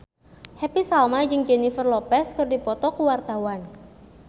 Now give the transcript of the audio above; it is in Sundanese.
Happy Salma jeung Jennifer Lopez keur dipoto ku wartawan